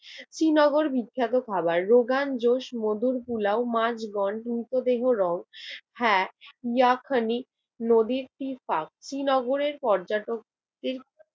শ্রীনগর বিখ্যাত খাবার, রোগান জোস, মধুর পোলাও, মাছ বন্ড হ্যা ইয়াখানি নদীর তীরপাক শ্রীনগরের পর্যটকদের